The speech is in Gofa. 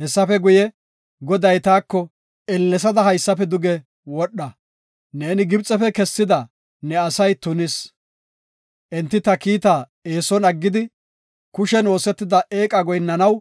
Hessafe guye, Goday taako, “Ellesada haysafe duge wodha; neeni Gibxefe kessida ne asay tunis; enti ta kiitaa eeson aggidi, kushen oosetida eeqa goyinnanaw